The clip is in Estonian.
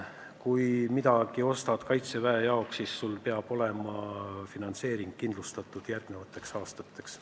Kui midagi ostad kaitseväe jaoks, siis sul peab olema finantseering ka järgmisteks aastateks.